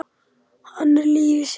Hann er lífið sjálft.